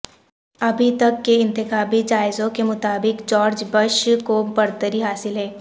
ابھی تک کے انتخابی جائزوں کے مطابق جارج بش کو برتری حاصل ہے